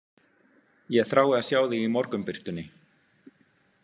Ég þrái að sjá þig í morgunbirtunni.